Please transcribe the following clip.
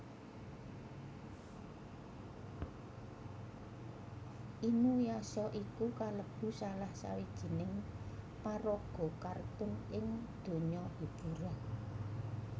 Inuyasha iku kalebu salah sawijining paraga kartun ing donya hiburan